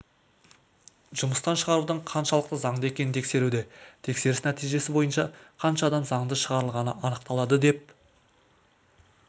жұмыстан шығарудың қаншалықты заңды екенін тексеруде тексеріс нәтижесі бойынша қанша адам заңды шығарылғаны анықталады деп